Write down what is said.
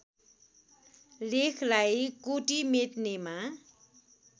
लेखलाई कोटि मेट्नेमा